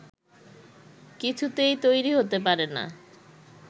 কিছুতেই তৈরি হতে পারে না